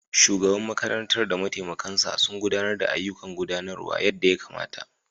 Shugaban makarantar da mataimakinsa sun gudanar da ayyukan gudanarwa yadda ya kamata.